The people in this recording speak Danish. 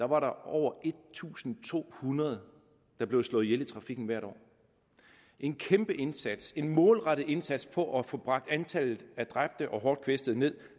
var der over en tusind to hundrede der blev slået ihjel i trafikken hvert år en kæmpe indsats en målrettet indsats for at få bragt antallet af dræbte og hårdt kvæstede ned